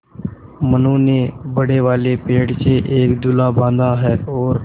मनु ने बड़े वाले पेड़ से एक झूला बाँधा है और